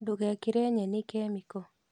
Ndugekĩre nyeni kemiko